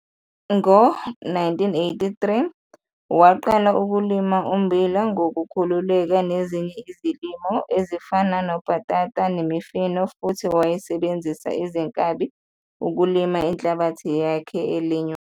Ngo-1983 waqala ukulima ummbila ngokukhululeka nezinye izilimo ezifana nobhatata nemifino futhi wayesebenzisa izinkabi ukulima inhlabathi yakhe elinywayo.